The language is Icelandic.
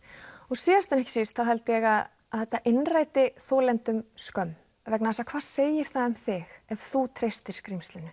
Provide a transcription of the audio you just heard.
síðast en ekki síst held ég að að þetta innræti þolendum skömm vegna þess að hvað segir það um þig ef þú treystir skrímslinu